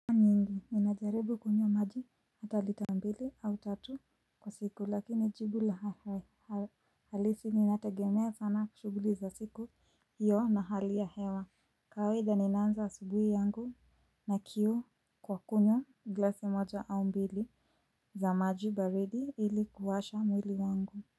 Ninajaribu kunywa maji hata lita mbili au tatu kwa siku lakini jibu la halisi ni nategemea sana shughuli za siku hiyo na hali ya hewa. Kawaida ninanza wa asubuhi yangu na kiu kwa kunywa glasi moja au mbili za maji baridi ili kuwasha mwili wangu.